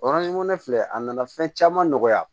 ne filɛ a nana fɛn caman nɔgɔya